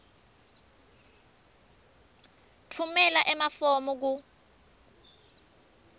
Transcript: tfumela emafomu ku